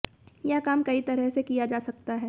यह काम कई तरह से किया जा सकता है